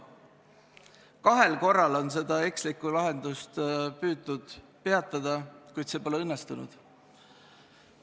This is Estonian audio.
Kahel korral on seda ekslikku lahendust püütud peatada, kuid see pole õnnestunud.